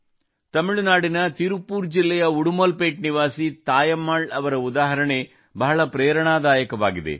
ತಮಿಳುನಾಡಿನ ತಿರುಪ್ಪೂರ್ ಜಿಲ್ಲೆಯ ಉಡುಮಲ್ ಪೇಟ್ ನಿವಾಸಿ ತಾಯಮ್ಮಾಳ್ ಅವರ ಉದಾಹರಣೆ ಬಹಳ ಪ್ರೇರಣಾದಾಯಕವಾಗಿದೆ